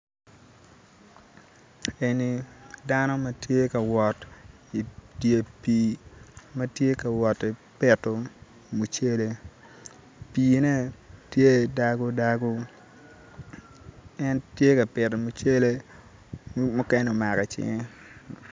Eni dano matye ka wot i dye pii ma tye ka wot ki pito mucele pii-ne tye dago dago en tye ka pito mucele mukene omako icinge